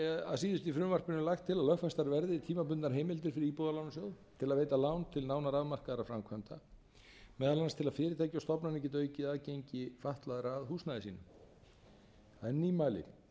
að síðustu í frumvarpinu lagt til að lögfestar verði tímabundnar heimildir fyrir íbúðalánasjóð til að veita lán til nánara afmarkaðra framkvæmda meðal annars til að fyrirtæki og stofnanir geti aukið aðgengi fatlaðra að húsnæði sínu það er nýmæli